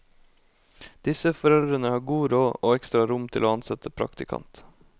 Disse foreldrene har god råd og ekstra rom til å ansette praktikant.